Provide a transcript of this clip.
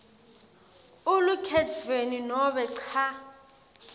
elukhetfweni nobe cha